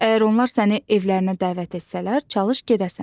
Əgər onlar səni evlərinə dəvət etsələr, çalış gedəsən.